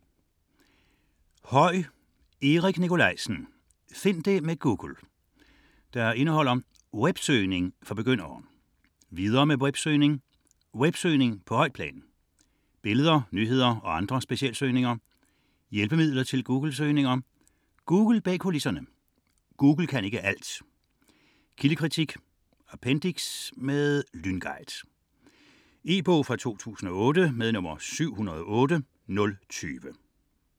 02.16 Høy, Erik Nicolaisen: Find det med Google Indhold: Websøgning for begyndere; Videre med websøgning; Websøgning på højt plan; Billeder, nyheder og andre specialsøgninger; Hjælpemidler til Googlesøgninger; Google bag kulisserne; Google kan ikke alt; Kildekritik; Appendiks: Lynguide. E-bog 708020 2008.